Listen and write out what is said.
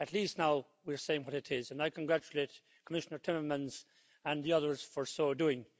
At least now we are saying what it is and I congratulate Commissioner Timmermans and the others for so doing.